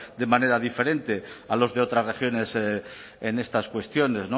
de manera diferente a los de otras regiones en estas cuestiones